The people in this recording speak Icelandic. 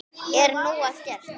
Er nóg að gert?